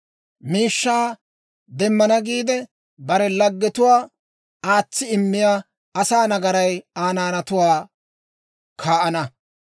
Miishshaa demmana giide, bare laggetuwaa aatsi immiyaa asaa nagaray Aa naanatuwaa kaa'ana.